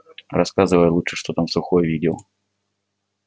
рассказывай лучше что там сухой видел